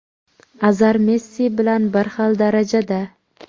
Azar Messi bilan bir xil darajada.